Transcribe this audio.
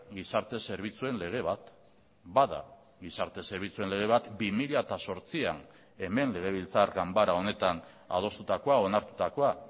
gizarte zerbitzuen lege bat bada gizarte zerbitzuen lege bat bi mila zortzian hemen legebiltzar ganbara honetan adostutakoa onartutakoa